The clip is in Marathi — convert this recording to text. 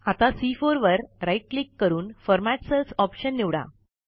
आता सी4 वर राईट क्लिक करून फॉर्मॅट सेल्स ऑप्शन निवडा